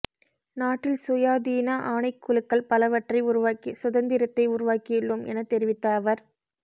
நாட்டில் சுயாதீன ஆணைக்குழுக்கள் பலவற்றை உருவாக்கி சுதந்திரத்தை உருவாக்கியுள்ளோம் எனத் தெரிவித்த அவர்